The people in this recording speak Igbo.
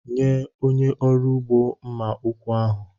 Nye onye ọrụ ugbo mma ụkwụ ahụ.